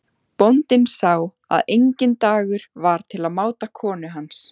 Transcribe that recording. Bóndinn sá að enginn dagur var til máta konu hans.